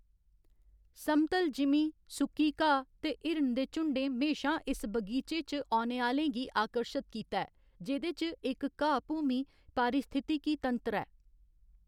समतल जिमीं, सुक्की घाऽ ते हिरन दे झुंडें म्हेशां इस बगीचे च औने आह्‌लें गी आकर्शत कीता ऐ, जेह्‌दे च इक घाऽ भूमि पारिस्थितिकी तंत्र ऐ।